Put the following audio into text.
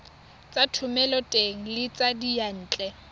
tsa thomeloteng le tsa diyantle